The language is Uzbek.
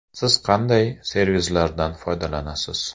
Siz qanday servislardan foydalanasiz?